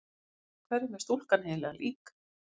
Hverjum er stúlkan eiginlega lík?